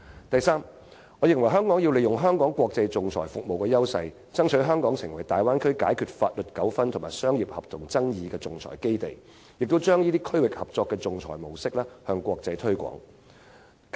再者，我認為香港要利用香港在國際仲裁服務的優勢，爭取香港成為大灣區解決法律糾紛及商業合同爭議的仲裁基地，並把這種區域合作的仲裁模式向國際推廣。